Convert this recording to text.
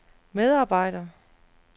medarbejder